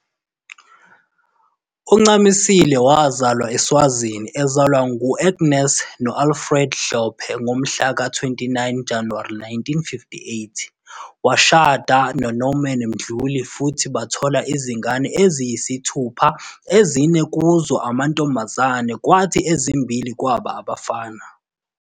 UNcamisile wazalelwa eSwazini ezalwa ngu-Agnes no-Alfred Hlophe ngomhla ka 29 Januwari 1958. Washada noNorman Mdluli futhi bathola izingane eziyisithupha ezine kuzo amantombazane kwathi ezimmbili kwaba abafana.